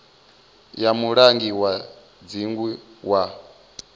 ya mulangi wa dzingu wa